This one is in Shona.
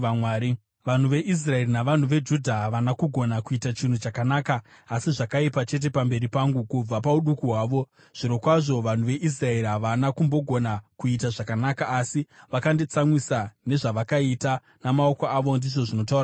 “Vanhu veIsraeri navanhu veJudha havana kugona kuita chinhu chakanaka asi zvakaipa chete pamberi pangu kubva pauduku hwavo; zvirokwazvo vanhu veIsraeri havana kumbogona kuita zvakanaka asi vakanditsamwisa nezvavakaita namaoko avo, ndizvo zvinotaura Jehovha.